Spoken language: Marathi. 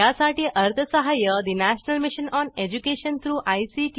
यासाठी अर्थसहाय्य national mission on education through I